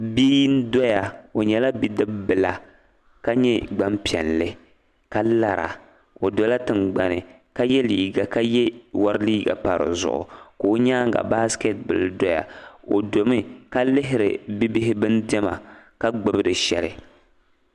Bia n-doya o nyɛla bidib’bila ka nyɛ gbampiɛlli ka lara o dola tiŋgbani ka ye leega ka ye wari leega m-pa di zuɣu ka o nyaaŋa ka baasikɛti bila doya o domi ka lihiri bibihi diɛma ka gbubi di shɛli